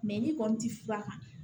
ni kɔni ti fura kan